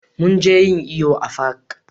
Mun je yin iyo a fak